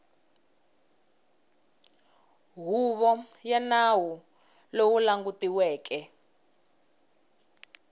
huvo ya nawu lowu langutiweke